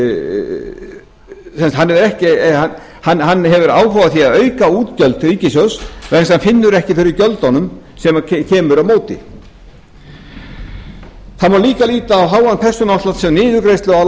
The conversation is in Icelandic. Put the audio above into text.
auka útgjöld ríkissjóðs vegna þess að hann finnur ekki fyrir gjöldunum sem koma á móti það má líka líta á háan persónuafslátt sem niðurgreiðslu á